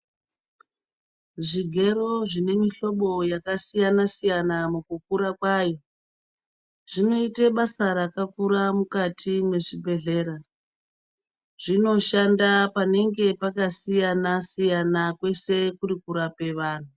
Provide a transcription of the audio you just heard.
Zvigero zvine mihlobo yakasiyana siyana mukura kwayo zvinoite basa rakakura mukati mezvibhedhlera zvinoshanda panenge pakasiyana siyana kwese kuri kurapa vanhu.